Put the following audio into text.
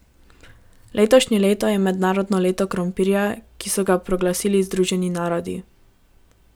Letošnje leto je mednarodno leto krompirja, ki so ga proglasili Združeni narodi.